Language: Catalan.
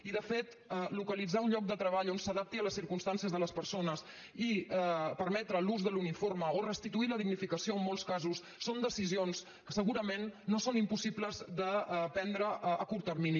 i de fet localitzar un lloc de treball que s’adapti a les circumstàncies de les persones i permetre l’ús de l’uniforme o restituir la dignificació en molts casos són decisions que segurament no són impossibles de prendre a curt termini